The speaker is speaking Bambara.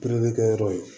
kɛyɔrɔ ye